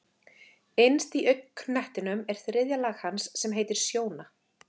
Innst í augnknettinum er þriðja lag hans sem heitir sjóna.